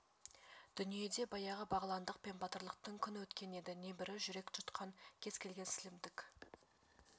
дүниеде баяғы бағландық пен батырлықтың күн өткен еді небірі жүрек жұтқан кез келген сілімтік